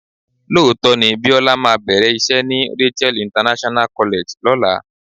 Lóòótọ́ ni Bíọ́lá máa bẹ̀rẹ̀ iṣẹ́ ni Rachael International College lọ́la.